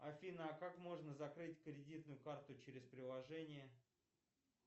афина а как можно закрыть кредитную карту через приложение